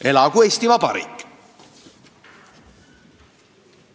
Elagu Eesti Vabariik!